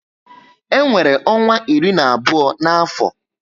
E nwere ọnwa iri na abụọ na afọ